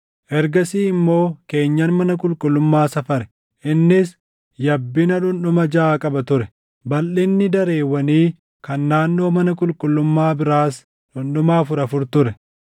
Ergasii immoo keenyan mana qulqullummaa safare; innis yabbinna dhundhuma jaʼa qaba ture; balʼinni dareewwanii kan naannoo mana qulqullummaa biraas dhundhuma afur afur ture.